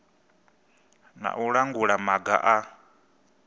na u langula maga a